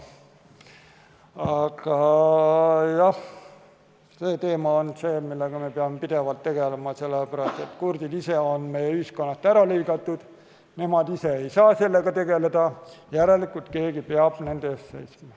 Aga jah, see teema on see, millega me peame pidevalt tegelema, sest kurdid on meie ühiskonnast ära lõigatud, nemad ise ei saa sellega tegeleda, järelikult keegi peab nende eest seisma.